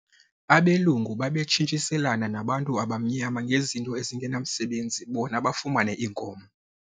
Abelungu babetshintshiselana nabantu abamnyama ngezinto ezingenamsebenzi bona bafumane iinkomo.